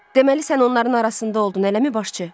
Deməli sən onların arasında oldun, eləmi, başçı?